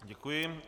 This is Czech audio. Děkuji.